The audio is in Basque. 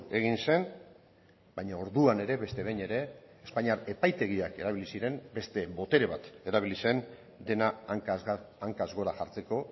egin zen baina orduan ere beste behin ere espainiar epaitegiak erabili ziren beste botere bat erabili zen dena hankaz gora jartzeko